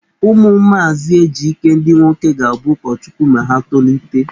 Ụmụ maazị Ejike ndị nwoke ga-abụ ụkọchukwu ma ha tolite.